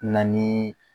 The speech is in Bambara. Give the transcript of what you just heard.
Na ni